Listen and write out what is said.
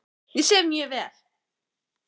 Ég sef mjög vel.